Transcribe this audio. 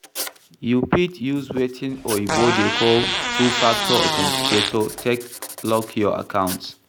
You fit use wetin oyibo dey call Two Factor Authenticator take lock your accounts